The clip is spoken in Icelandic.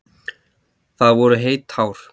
Það voru heit tár.